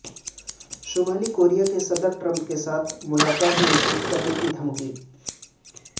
شمالی کوریا کی صدر ٹرمپ کے ساتھ ملاقات منسوخ کرنے کی دھمکی